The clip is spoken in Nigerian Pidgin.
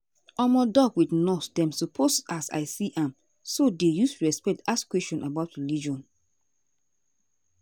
omo doc with nurse dem suppose as i see am so dey use respect ask question about religion.